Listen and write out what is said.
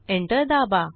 enter दाबा